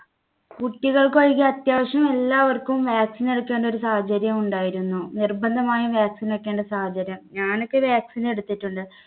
കുട്ടികൾക്ക് ഒഴികെ അത്യാവശ്യം എല്ലാവർക്കും vaccine എടുക്കേണ്ട ഒരു സാഹചര്യം ഉണ്ടായിരുന്നു. നിർബന്ധമായും vaccine വെക്കേണ്ട സാഹചര്യം ഞാനൊക്കെ vaccine എടുത്തിട്ടുണ്ട്.